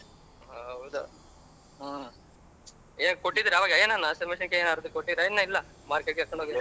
ಹೌದು ಹೆ ಕೊಟ್ಟಿದರಾ ಅವಾಗ ಏನಾನ ಹಸೀಮೆಣಸಿಕಾಯಿ ಏನಾನ ಕೊಟ್ಟಿದರ ಇನ್ನ ಇಲ್ಲ .